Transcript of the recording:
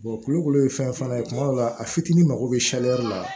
kulukoro ye fɛn fana ye kuma dɔw la a fitinin mago bɛ la